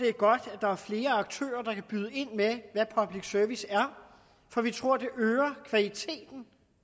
er godt at der er flere aktører der kan byde ind med hvad public service er for vi tror at det øger kvaliteten